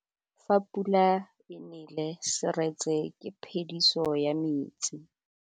Fa pula e nelê serêtsê ke phêdisô ya metsi.